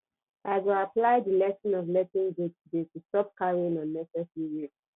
i go apply di lesson of letting go today to stop carrying unnecessary weight